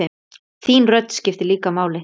Þín rödd skiptir líka máli.